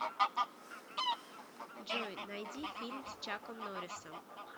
джой найди фильм с чаком норрисом